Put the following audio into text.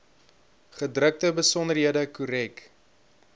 gedrukte besonderhede korrek